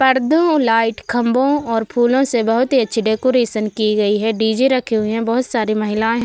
परदो light और खम्बो और फूलों से बहुत ही अच्छी डेकोरेशन की गई है डी.जे रखे हुए हैं बहुत सारी महिलाएं --